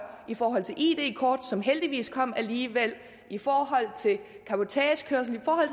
i forhold til id kort som heldigvis kom alligevel i forhold til cabotagekørsel i forhold